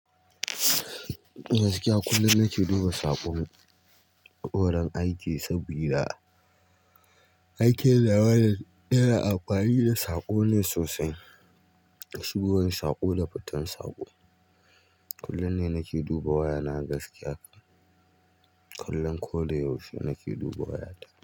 Gaskiya kullum nake duba saƙon gurin aiki saboda aikin nawa yana amfani da saƙo ne sosai, shigowan saƙo da fitan saƙo. Kullum ne nake duba waya na gaskiya, kullum ko da yaushe nake duba wayata.